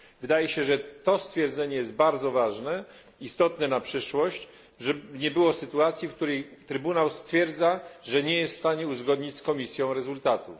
Wydaje się, że to stwierdzenie jest bardzo ważne, istotne na przyszłość, tak aby nie było sytuacji, w której Trybunał stwierdza, że nie jest w stanie uzgodnić z Komisją rezultatów.